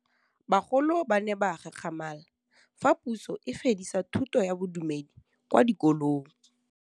Bagolo ba ne ba gakgamala fa Pusô e fedisa thutô ya Bodumedi kwa dikolong.